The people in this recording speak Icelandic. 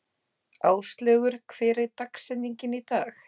Áslaugur, hver er dagsetningin í dag?